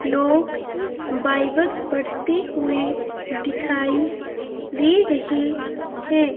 लोग बाइबल पढ़ते हुए दिखाई दे रहे हैं।